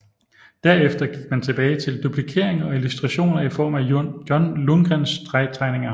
Derefter gik man tilbage til duplikering og illustrationer i form af John Lundgrens stregtegninger